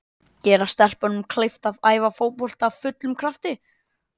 Gera stelpunum kleift að æfa fótbolta af fullum krafti.